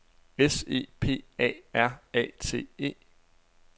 S E P A R A T E